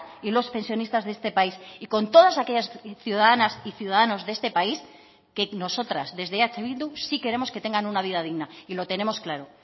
y los pensionistas de este país y con todas aquellas ciudadanas y ciudadanos de este país que nosotras desde eh bildu sí queremos que tengan una vida digna y lo tenemos claro